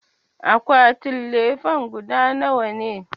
Akwatin lefen guda nawa ne?